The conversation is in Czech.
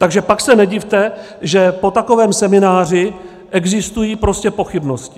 Takže pak se nedivte, že po takovém semináři existují prostě pochybnosti.